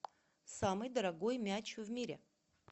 самый дорогой мяч в мире